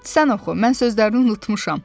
Sən oxu, mən sözlərini unutmuşam.